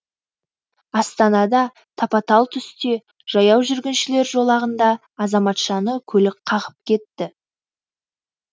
астанада тапа талтүсте жаяу жүргіншілер жолағында азаматшаны көлік қағып кетті